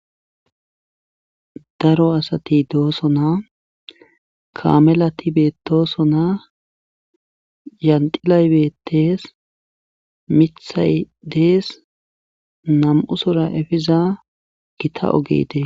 Daro asati doosona kaamelati beetosona kaamelati beetosona. yanxilay beetees. miththay dees. nam'usora efiza gita oge des